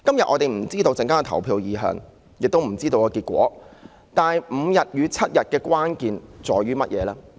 我們不知道今天稍後的投票結果為何，但5天與7天假期的關鍵分別在於甚麼？